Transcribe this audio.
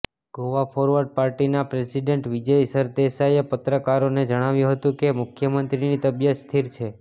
Goa forward પાર્ટીના president Vijay સરદેસાઈએ પત્રકારોને જણાવ્યું હતું કે મુખ્યમંત્રીની તબિયત સ્થિર છે